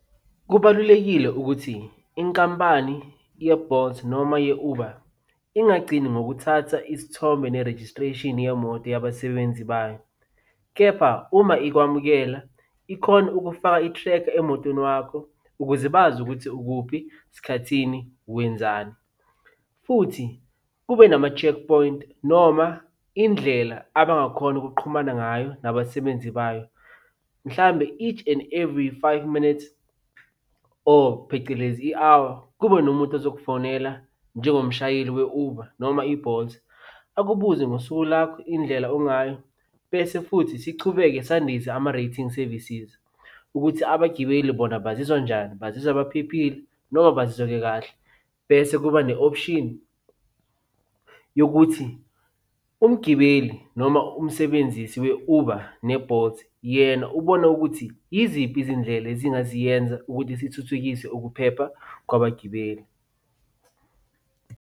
Kubalulekile ukuthi inkampani ye-Bolt noma ye-Uber ingagcini ngokuthatha isithombe ne-registration yemoto yabasebenzi bayo, kepha uma ikwamukela, ikhona ukufaka i-tracker emotweni wakho, ukuze bazi ukuthi ukuphi, sikhathi sini, wenzani, futhi kube nama-check point noma indlela abangakhona ukuqhumana ngayo nabasebenzi bayo. Mhlambe each and every five minutes or phecelezi i-hour kube nomuntu ozokufonela njengomshayeli we-Uber noma i-Bolt. Akubuze ngosuku lakho, indlela ongayo, bese futhi sichubeke sandise ama-rating services, ukuthi abagibeli bona bazizwa njani. Bazizwa baphephile noma bazizwa bekahle, bese kuba ne-option yokuthi umgibeli, noma umsebenzisi we-Uber ne-Bolt yena ubona ukuthi yiziphi izindlela ezingaziyenza ukuthi sithuthukise ukuphepha kwabagibeli.